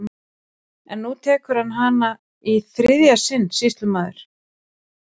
En nú tekur hann hana í hið þriðja sinn, sýslumaður!